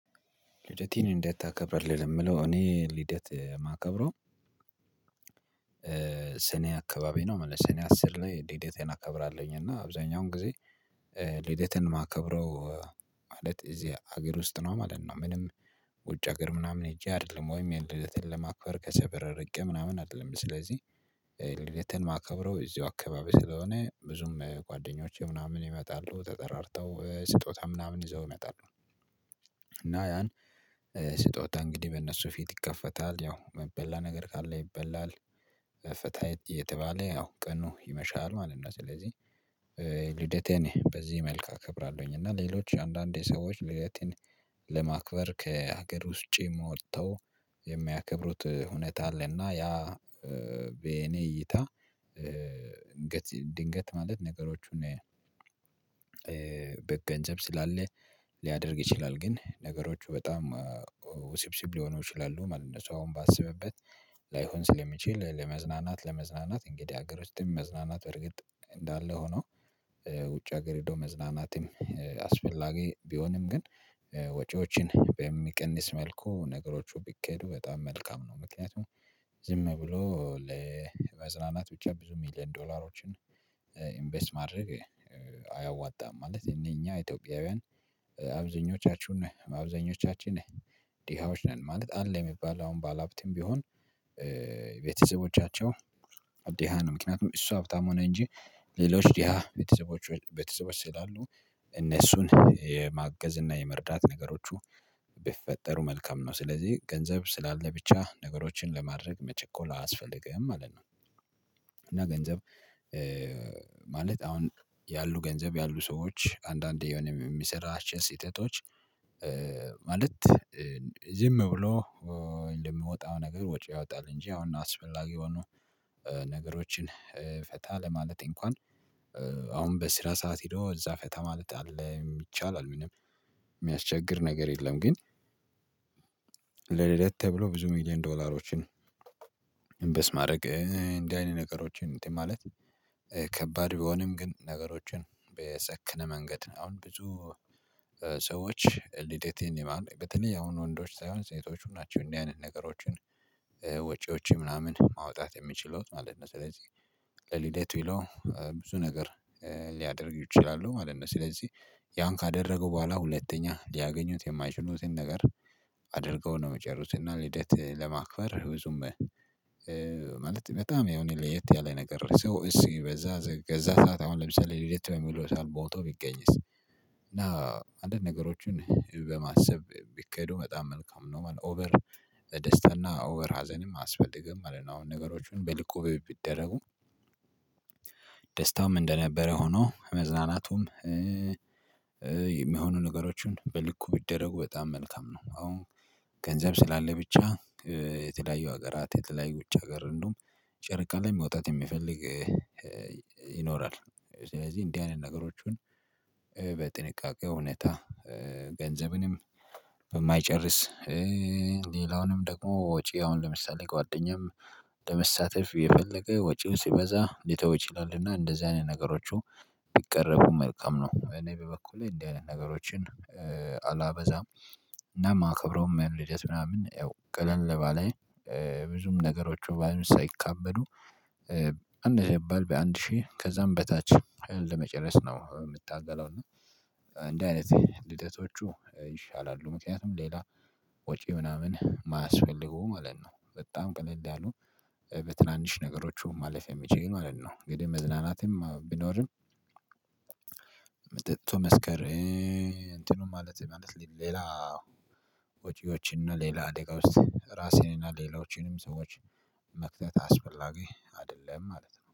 ልደትህን እንዴት ታከብራለህ? ለምለው እኔ ልደት የማከብረው ስኔ አካባቢ ነው ስኔ አስር ላይ ልዴቴን አከብራለሁኝ። እና አብዛኛውን ጊዜ ልዴቴን ማከብረው ማለት እዚህ አገር ውስጥ ነው ማለት ነው። ምንም ውጭ አገር ምናምን ሄጄ አይደለም ወይም ልደቴን ለማክበር ከሰፈር ርቄ ምናምን አይደለም። ስለዚህ ልደቴን ማከብረው እዚሁ አካባቢ ስለሆነ ብዙም ጓደኞቼ ምናምን ይመጣሉ ተጠራርተው ስጦታ ምናምን ይዘው ይመጣሉ። እና ያን ስጦታ እንግዲህ በእነሱ ፊት ይከፈታል ያው ሚበላ ነገር ካለ ይበላል። ፈታ እየተባለ ያው ቀኑ ይመሻል ማለት ነው። ስለዚህ ልደቴን በዚህ መልክ እከብራለሁኝ። እና ሌሎች አንዳንዴ ሰዎች ልደትን ለማክበር ከሀገር ውጭ ወጥተው የሚያከብሩት ሁኔታ አለና። ያ በኔ እይታ ድንገት ማለት ነገሮቹን በገንዘብ ስላለ ሊያደርግ ይችላል ግን ነገሮች በጣም ውስብስብ ሊሆኑ ይችላሉ ማለት ነው። ሰው ባስብበት ላይሆን ስለሚችል ለመዝናናት ለመዝናናት እንግዲህ ሀገር ወስጥም መዝናናት በርግጥ እንዳለ ሆኖ። ውጭ ሀገር ሄዶ መዝናናትም አስፈላጊ ቢሆንም ግን ወጪዎችን በሚቀንስ መልኩ ነገሮቹ ቢኬዱ በጣም መልካም ነው። ምክንያቱም ዝም ብሎ ለመዝናናት ብቻ ብዙ ሚሊየን ዶላሮችን ኢንቨስት ማድረግ አያዋጣም። ማለት የኛ ኢትዮጵያውያን አብዛኞቻችን አብዛኞቻችን ነህ ድሃዎች ነን። ማለት አለ የሚባል አሁን ባለሀብትም ቢሆን ቤተሰቦቻቸው ድሃ ነው። ምክንያቱም እሱ በጣም ሆነ እንጂ ሌሎች ድሃ ቤተሰቦች ቤተሰቦች ስላሉ እነሱን የማገዝ እና የመርዳት ነገሮቹ በፈጠሩ መልካም ነው። ስለዚህ ገንዘብ ስላለ ብቻ ነገሮችን ለማድረግ መቸኮል አያስፈልግህም ማለት ነው። እና ገንዘብ ማለት አሁን ያሉ ገንዘብ ያሉ ሰዎች አንዳንዴ የሆነ የሚሰራ ስተቶች ማለት ዝም ብሎ የሚወጣው ነገር ወጪ ያወጣል። እንጂ አሁን አስፈላጊ የሆኑ ነገሮችን ፈታ ለማለት እንኳን አሁን በስራ ሰዓት ሄዶ እዛ ፈታ ማለት አለ ይቻላል። ምንም የሚያስቸግር ነገር የለም። ግን ለልደት ተብሎ ብዙ ሚልዮን ዶላሮችን ኢንቨስት ማድረግ እንደዚህ አይነት ነገሮችን እንትን ማለት ከባድ ቢሆንም ግን ነገሮችን በሰክነ መንገድ አሁን ብዙ ሰዎች ልደትን ይማል በተለይ ያሁኑ ወንዶች ሳይሆን ሴቶቹም ናቸው እንዲህ አይነት ነገሮችን ወጪዎች ምናምን ማውጣት የሚችሉት ማለት ነው። ስለዚህ ለልደት ብለው ብዙ ነገር ሊያደርጉ ይችላሉ ማለት ነው። ስለዚህ ያን ካደረጉ በኋላ ሁለተኛ ሊያገኙት የማይችሉትን ነገር አድርገው ነው የሚጨርሱት። እና ልደት ለማክበር ብዙም ማለት በጣም ያው እኔ ለየት ያለ ነገር ሰው ሲበዛ በዛ ሰዓት አሁን ለምሳሌ ልደት የሚለው ሰው ሞቶ ቢገኝስ? እና አንድ ነገሮችን በማሰብ ቢካሄዱ በጣም መልካም ነው። ኦቨር ደስታና ኦቨር ሀዘንም አያስፈልግም። አሁን አሁን ነገሮችን በልኩ ቢደረጉ ደስታውም እንደነበረ ሆኖ መዝናናቱም የሚሆኑ ነገሮችን በልኩ ቢደረጉ በጣም መልካም ነው። አሁን ገንዘብ ስላለ ብቻ የተለያዩ ሀገራት የተለያዩ ውጭ ሀገር እንደውም ጨርቃ ላይ መውጣት የሚፈልግ ይኖራል። ስለዚህ እንዲህ አይነት ነገሮችን በጥንቃቄ እውነታ ገንዘብንም በማይጨርስ ሌላውንም ደግሞ ወጪ አሁን ለምሳሌ ጓደኛም ለመሳተፍ የፈለገ ወጪውን ሲበዛ ሊተው ይችላልና እንደዚህ አይነት ነገሮቹ የሚቀረፉ መልካም ነው። እኔ በበኩሌ እንደዚህ አይነት ነገሮችን አላበዛም። እና ማከብረውም ያ ልደት ምናምን ያው ቀለል ባለ ብዙም ነገሮች ምናምን ሳይካበዱ አነሰ ቢባል በአንድ ሺህ ከዛም በታች ለመጨረስ ነው የምታገለው። እና እንዲህ አይነት ልደቶች ይሻላሉ። ምክንያቱም ሌላ ወጪ ምናምን ማያስፈልገው ማለት ነው። በጣም ቅልል ያሉ በትናንሽ ነገሮቹ ማለፍ የሚችሉ ማለት ነው። እንግዲህ መዝናናትም ቢኖርም። ጠጥቶ መስከር እንትኑ ማለት ማለት ሌላ ወጪዎችን እና ሌላ አደጋ ውስጥ ራስህን እና ሌላዎችንም ሰዎች መክተት አስፈላጊ አይደለም። ማለት ነው